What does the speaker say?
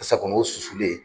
Tasa kɔnɔ o susulen.